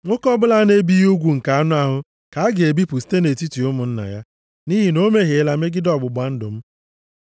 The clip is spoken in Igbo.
Nwoke ọbụla a na-ebighị ugwu nke anụ ahụ ka a ga-ebipụ site nʼetiti ụmụnna ya. Nʼihi na o mehiela megide ọgbụgba ndụ m.”